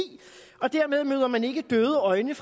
og dermed møder man ikke døde øjne